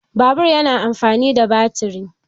Babur yana amfani da batiri.